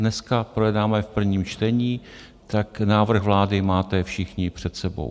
Dneska projednáme v prvním čtení, tak návrh vlády máte všichni před sebou.